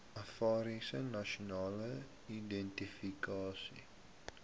affairs national identification